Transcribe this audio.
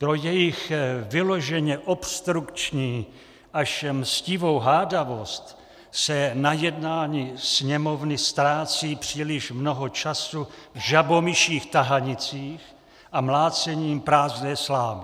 Pro jejich vyloženě obstrukční až mstivou hádavost se na jednání Sněmovny ztrácí příliš mnoho času v žabomyších tahanicích a mlácením prázdné slámy.